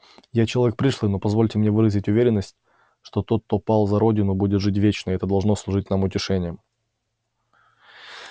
я человек пришлый но позвольте мне выразить уверенность что тот кто пал за родину будет жить вечно и это должно служить нам утешением